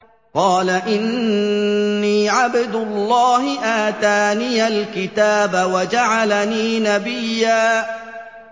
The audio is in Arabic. قَالَ إِنِّي عَبْدُ اللَّهِ آتَانِيَ الْكِتَابَ وَجَعَلَنِي نَبِيًّا